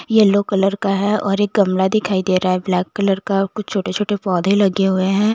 Yellow colour का है और एक गमला दिखाई दे रहा है ब्लैक कलर का कुछ छोटे छोटे पौधे लगे हुए है।